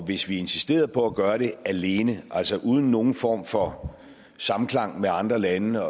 hvis vi insisterede på at gøre det alene altså uden nogen form for samklang med andre lande